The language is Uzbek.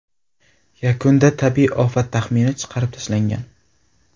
Yakunda tabiiy ofat taxmini chiqarib tashlangan.